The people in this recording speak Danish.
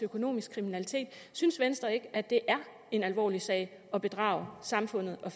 økonomisk kriminalitet synes venstre ikke at det er en alvorlig sag at bedrage samfundet og